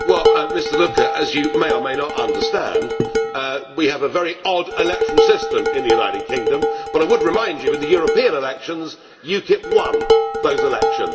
Mr Lucke, as you may or may not understand, we have a very odd electoral system in the United Kingdom. I would remind you, in the European elections, UKIP won those elections.